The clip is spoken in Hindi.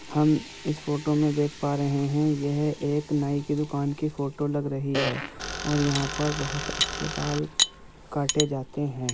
हम इस फोटो में देख पा रहे हैं यह एक नाई की दुकान की फोटो लग रही है और यहां पर बहोत अच्छे बाल काटें जाते हैं |